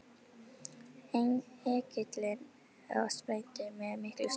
Engillinn og sprændi með miklum stunum.